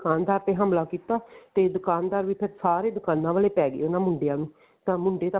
ਦੁਕਾਨਦਾਰ ਤੇ ਹਮਲਾ ਕੀਤਾ ਤੇ ਦੁਕਾਨਦਾਰ ਵੀ ਫ਼ੇਰ ਸਾਰੇ ਦੁਕਾਨਾ ਵਾਲੇ ਪੈ ਗਏ ਉਹਨਾ ਮੁੰਡਿਆਂ ਨੂੰ ਤਾਂ ਮੁੰਡੇ ਤਾਂ